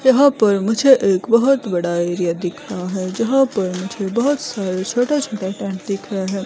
यहां पर मुझे एक बहोत बड़ा एरिया दिख रहा है जहां पर मुझे बहोत सारे छोटे छोटे टेंट दिख रहे हैं।